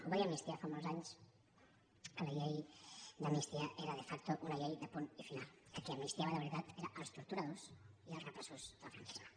ho va dir amnistia fa molts anys que la llei d’amnistia era de facto una llei de punt i final que a qui amnistiava de veritat era als torturadors i als repressors del franquisme